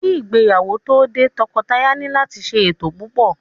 Ki ìgbéyàwó tó dé, tọkọtaya ni láti ṣe ètò púpò.